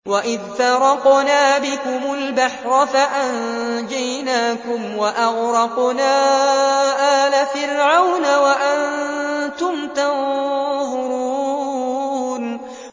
وَإِذْ فَرَقْنَا بِكُمُ الْبَحْرَ فَأَنجَيْنَاكُمْ وَأَغْرَقْنَا آلَ فِرْعَوْنَ وَأَنتُمْ تَنظُرُونَ